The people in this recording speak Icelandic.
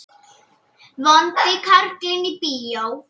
Vondi karlinn í bíó?